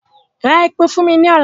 Ra epo fún mi lọ́la!